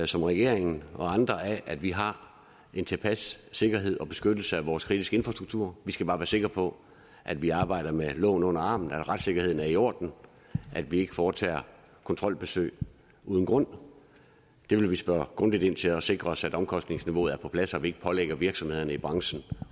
som regeringen og andre af at vi har en tilpas sikkerhed og beskyttelse af vores kritiske infrastruktur vi skal bare være sikre på at vi arbejder med loven under armen at retssikkerheden er i orden at vi ikke foretager kontrolbesøg uden grund det vil vi spørge grundigt ind til og sikre os at omkostningsniveauet er på plads og vi ikke pålægger virksomhederne i branchen